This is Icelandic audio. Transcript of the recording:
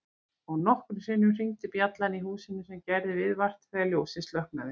Og nokkrum sinnum hringdi bjallan í húsinu sem gerði viðvart þegar ljósið slokknaði.